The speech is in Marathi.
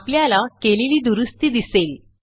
आपल्याला केलेली दुरूस्ती दिसेल